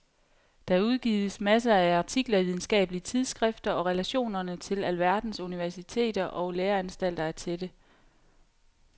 Der udgives masser af artikler i videnskabelige tidsskrifter og relationerne til alverdens universiteter og læreanstalter er tætte.